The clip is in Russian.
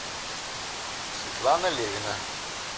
светлана левина